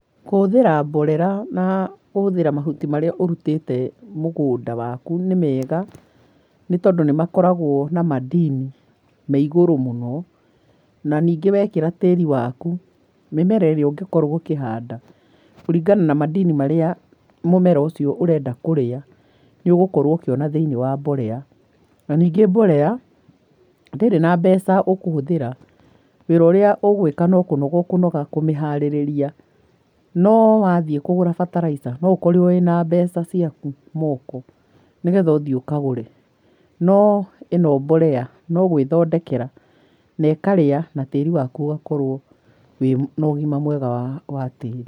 Kũhũthĩra mborera na kũhũthĩra mahuti maria ũrutĩte mũgũnda waku nĩmega, nĩ tondũ nĩmakoragwo na madini me igũrũ mũno, na ningĩ wekĩra tĩri waku mĩmera ĩrĩa ũngĩkorwo ũkihanda kũringana na madini maria mũmera ũcio ũrenda kũrĩa nĩũgũkorwo ũkĩmona thĩinĩ wa mborera, na ningĩ mborera ndĩrĩ na mbeca ũkũhũthira wĩra ũrĩa ũgwĩka no kunoga ũkũnoga kũmĩharĩrĩria. No wathiĩ kũgũra bataraica no ũkorirwo wĩna mbeca ciaku moko nĩgetha ũthie ũkagũre no ĩno mborea nĩũgwĩthondekera na ũkarĩa na tĩri waku ũgakorwo wĩna ũgima mwega wa tĩri.